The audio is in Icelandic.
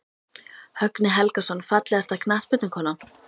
Högni Helgason Fallegasta knattspyrnukonan?